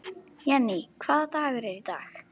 Jenni, hvaða dagur er í dag?